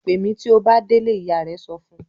"Pè mí tí ó bá délé!" Ìyá rẹ̀ sọ fún un.